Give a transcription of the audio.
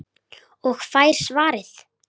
Og fær svarið